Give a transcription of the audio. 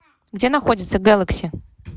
где находится гэлакси